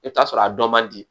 I bɛ t'a sɔrɔ a dɔ man di